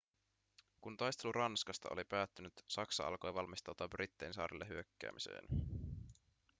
kun taistelu ranskasta oli päättynyt saksa alkoi valmistautua brittein saarille hyökkäämiseen